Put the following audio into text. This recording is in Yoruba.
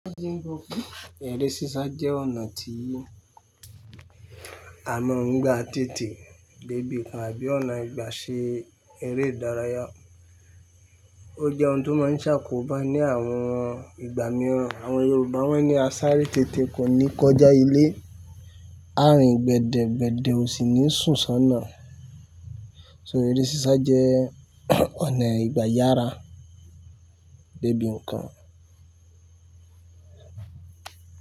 Eré sísá jẹ́ ọ̀nà tí a mọ̀ ń gba tètè débi nǹkan àbí ọ̀nà ìgbà ṣe eré ìdárayá. Ó jẹ́ ohun tó máa ń ṣàkóbá ní àwọn ìgbà mìíràn. Àwọn Yorùbá wọ́n ní "A sáré tètè kò ní kọjá ilé", "Ààrin gbẹ̀dẹ̀ gbẹ̀dẹ̀ ò sì ní sùnsọ́nà". So eré sísá jẹ́ ọ̀nà ìgbà yára débi nǹkan.